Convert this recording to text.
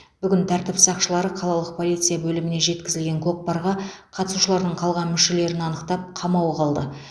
бүгін тәртіп сақшылары қалалық полиция бөліміне жеткізілген кокпарға қатысушылардың қалған мүшелерін анықтап қамауға алды